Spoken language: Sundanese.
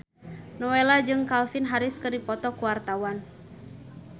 Nowela jeung Calvin Harris keur dipoto ku wartawan